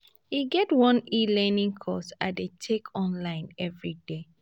e get one e-learning course i dey take online everyday